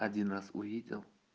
один раз увидел